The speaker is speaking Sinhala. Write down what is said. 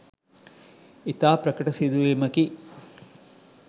ඉතා ප්‍රකට සිදුවීමකි.